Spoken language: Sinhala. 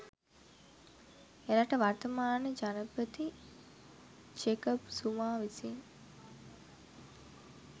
එරට වර්තමාන ජනපති ජෙකබ් සුමා විසින්